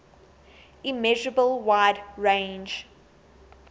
immeasurable wide range